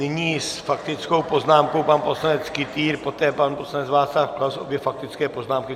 Nyní s faktickou poznámkou pan poslanec Kytýr, poté pan poslanec Václav Klaus - obě faktické poznámky.